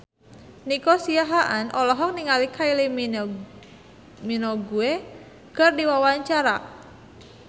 Nico Siahaan olohok ningali Kylie Minogue keur diwawancara